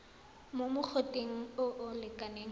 mo mogoteng o o lekanang